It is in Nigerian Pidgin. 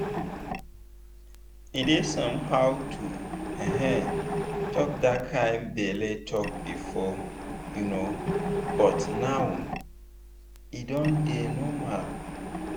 e dey somehow to um talk that kind belle talk before um but now e don dey normal.